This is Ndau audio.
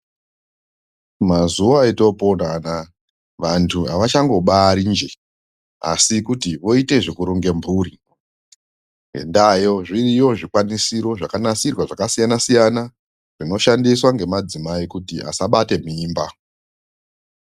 Mazuva atopona anaya vantu havachango bari njee, asikuti voite zvekuronge mhuri. Ngendaayo zviriyo zvikwanisiro zvakanasirwa zvakasiyana-siyana, zvinoshandiswa ngemadzimai kuti asabate mimba.